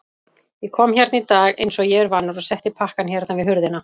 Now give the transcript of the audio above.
Ég kom hérna í dag einsog ég er vanur og setti pakkann hérna við hurðina.